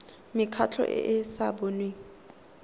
mekgatlho e e sa boneng